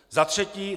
Za třetí.